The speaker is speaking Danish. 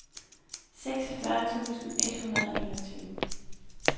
seksogfyrre tusind et hundrede og enogtyve